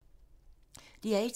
DR1